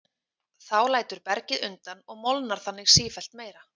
Þá lætur bergið undan og molnar þannig sífellt meira.